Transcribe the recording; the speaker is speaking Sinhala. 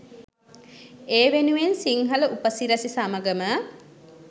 ඒ වෙනුවෙන් සිංහල උපසිරැසි සමඟම